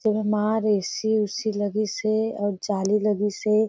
जेमा रस्सी उससी लगिसे अऊ जाली लगिसे।